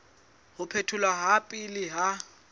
ho phetholwa ha pele ha